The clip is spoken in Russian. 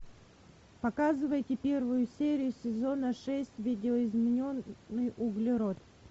показывайте первую серию сезона шесть видоизмененный углерод